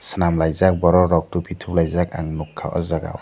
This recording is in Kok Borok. selam laijak borok rok topi top laijak ang nogka o jaga o.